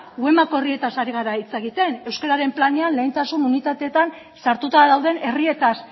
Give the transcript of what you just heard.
herrietaz ari gara hitz egiten euskararen planean lehentasun unitateetan sartuta dauden herrietaz